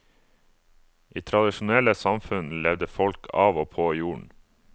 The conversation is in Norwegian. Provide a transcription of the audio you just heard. I tradisjonelle samfunn levde folk av og på jorden.